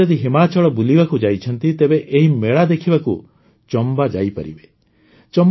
ଆପଣ ଯଦି ହିମାଚଳ ବୁଲିବାକୁ ଯାଇଛନ୍ତି ତେବେ ଏହି ମେଳା ଦେଖିବାକୁ ଚମ୍ବା ଯାଇପାରିବେ